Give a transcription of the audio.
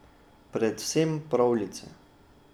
Predvsem pravljice.